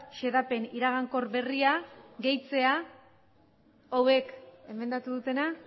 xedapen iragankor berria gehitzea hauek emendatu dutena